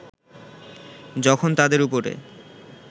যখন তাদের উপরে